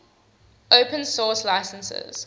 open source licenses